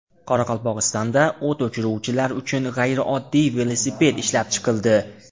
Qoraqalpog‘istonda o‘t o‘chiruvchilar uchun g‘ayrioddiy velosiped ishlab chiqildi .